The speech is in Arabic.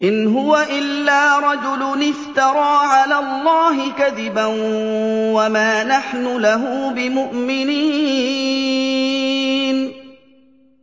إِنْ هُوَ إِلَّا رَجُلٌ افْتَرَىٰ عَلَى اللَّهِ كَذِبًا وَمَا نَحْنُ لَهُ بِمُؤْمِنِينَ